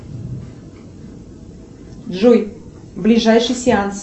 джой ближайший сеанс